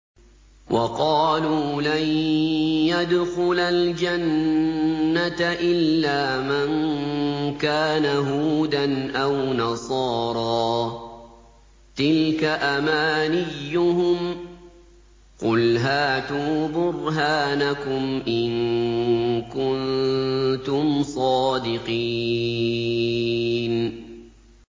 وَقَالُوا لَن يَدْخُلَ الْجَنَّةَ إِلَّا مَن كَانَ هُودًا أَوْ نَصَارَىٰ ۗ تِلْكَ أَمَانِيُّهُمْ ۗ قُلْ هَاتُوا بُرْهَانَكُمْ إِن كُنتُمْ صَادِقِينَ